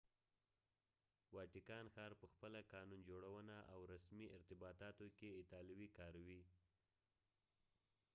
واټیکان ښار په خپله قانون جوړونه او رسمي ارتباطاتو کې اطالوي کاروي